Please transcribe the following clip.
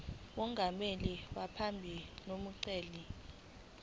mongameli wephalamende nomgcini